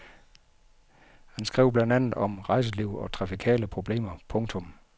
Han skrev blandt andet om rejseliv og trafikale problemer. punktum